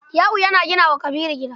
Yau yana gina wa Kabiru gida.